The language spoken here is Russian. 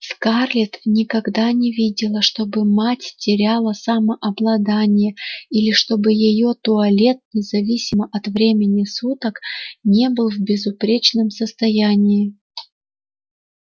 скарлетт никогда не видела чтобы мать теряла самообладание или чтобы её туалет независимо от времени суток не был в безупречном состоянии